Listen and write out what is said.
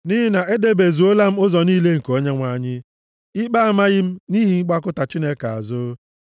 Nʼihi na edebezuola m ụzọ niile nke Onyenwe anyị, ikpe amaghị m nʼihi ịgbakụta Chineke azụ.